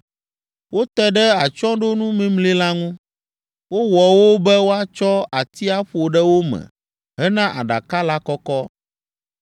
Wote ɖe atsyɔ̃ɖonu mimli la ŋu. Wowɔ wo be woatsɔ ati aƒo ɖe wo me hena aɖaka la kɔkɔ.